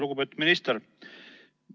Lugupeetud minister!